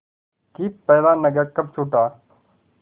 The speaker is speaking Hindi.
कि पहला नगर कब छूटा